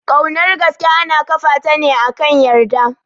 Kaunar gaske ana ƙafa ta ne akan yarda